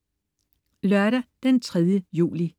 Lørdag den 3. juli